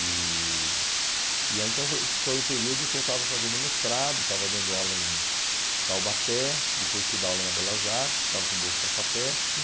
E... E aí então foi esse foi o período que eu estava fazendo mestrado, estava dando aula em Taubaté, depois fui dar aula na Belas Artes, estava com bolsa da FAPESP.